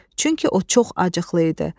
Çünki o çox acıqlı idi.